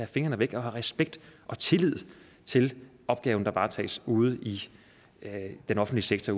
fingrene væk og have respekt og tillid til de opgaver der varetages ude i den offentlige sektor